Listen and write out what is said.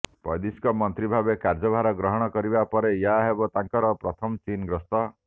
ବୈଦେଶିକ ମନ୍ତ୍ରୀ ଭାବେ କାର୍ଯ୍ୟଭାର ଗ୍ରହଣ କରିବା ପରେ ଏହା ହେବ ତାଙ୍କର ପ୍ରଥମ ଚୀନ ଗସ୍ତ